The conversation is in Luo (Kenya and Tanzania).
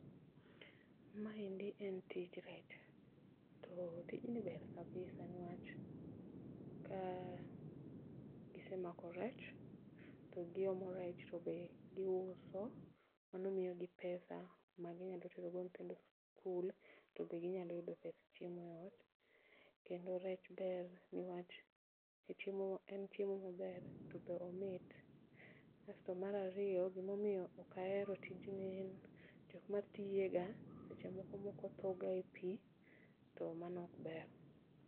Maendi en tij rech to tijni ber kabisa niwach ka gisemako rech to giomo rech tobe giuso, mano miyogi pesa ma ginyalo terogo nyithindo e skul tobe ginyalo yudo pes chiemo e ot. Kendo rech ber niwach en chiemo maber to be omit, asto mar ariyo gima omiyo ok ahero tijni en ni jokma tiyega seche moko moko tho ga e pii to mano ok ber